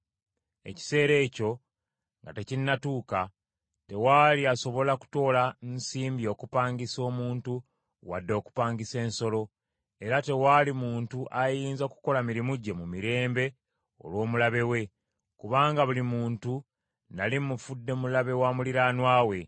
Ekiseera ekyo nga tekinnatuuka, tewaali asobola kutoola nsimbi okupangisa omuntu wadde okupangisa ensolo. Era tewaali muntu ayinza kukola mirimu gye mu mirembe olw’omulabe we, kubanga buli muntu nnali mufudde mulabe wa muliraanwa we.